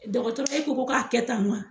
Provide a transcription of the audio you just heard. Dɔgɔtɔrɔ e ko k'a kɛ tan wa